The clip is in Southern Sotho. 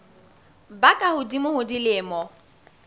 ba ka hodimo ho dilemo